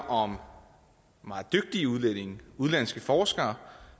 om meget dygtige udlændinge udenlandske forskere